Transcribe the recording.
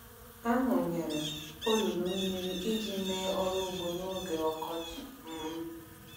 A wụnyere olulu mmiri iji mee ọrụ ugbo n’oge ọkọchị. um